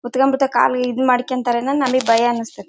ಗುದ್ದ್ ಕೋಬಿಡ್ತಾರೆ ಕಾಲು ಈ ಈದ್ ಮಾಡ್ಕೊಬಿಡತ್ತಾರೆ ಅನ್ನೋದು ನಮಗೆ ಭಯ ಅನ್ಸ್ತಾತ್ತೆ.